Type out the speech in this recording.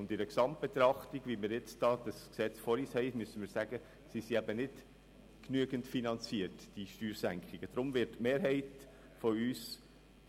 In der Gesamtbetrachtung dieses Gesetzes, wie wir es nun vor uns haben, sind die Steuersenkungen nicht genügend finanziert.